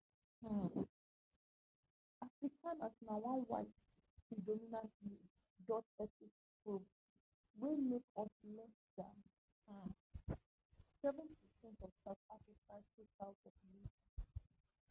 um afrikaners na one white predominantly dutch ethnic group wey make up less dan um seven percent of south africa total population